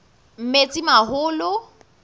metsimaholo